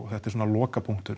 þetta er svona